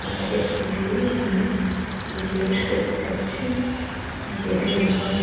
একটু গিয়ে সামনে গেট দেখতে পাচ্ছি | গেট -এর ওপারে --